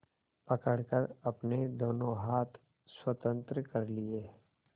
पकड़कर अपने दोनों हाथ स्वतंत्र कर लिए